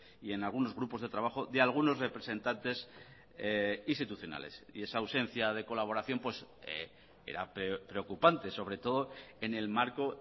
y en algunos grupos de trabajo de algunos representantes institucionales y esa ausencia de colaboración era preocupante sobre todo en el marco